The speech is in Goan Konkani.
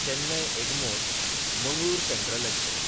Chennai एगमोर–मंगळूर central express